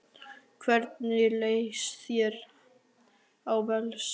Hvernig lýst þér á Valsliðið?